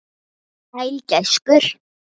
Sæll gæskur.